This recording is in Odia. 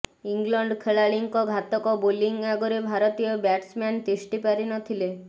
ଇଂଲଣ୍ଡ ଖେଳାଳିଙ୍କ ଘାତକ ବୋଲିଂ ଆଗରେ ଭାରତୀୟ ବ୍ୟାଟ୍ସମ୍ୟାନ ତିଷ୍ଠି ପାରି ନଥିଲେ